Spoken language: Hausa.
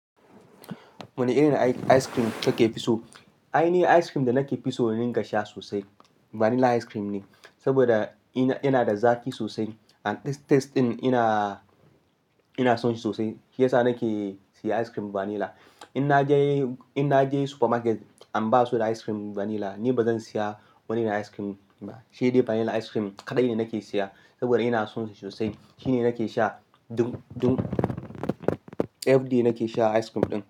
Wane irin ice cream kake fi so? Ai, ni ice cream da nake fi so rika sha sosai vanilla ice cream ne. Saboda yana da zaki sosai and taste ɗin ina son shi sosai. Shi yasa nake siya ice cream vanilla. In naje supermarket and ba su da ice cream vanilla, ni bazan siya wani irin ice cream ba, shi dai vanilla ice cream kaɗai ne nake siya. Saboda ina son shi sosai. Shi ne nake sha, duk ef di nake sha ice cream ɗin.